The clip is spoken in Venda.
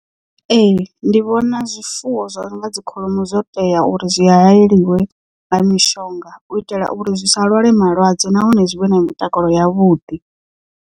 Ee ndi vhona zwifuwo zwo no nga dzi kholomo zwo tea uri zwi hayeliwe nga mishonga u itela uri zwi sa lwale malwadze nahone zwi vhe na mutakalo yavhuḓi.